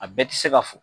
A bɛɛ tɛ se ka fɔ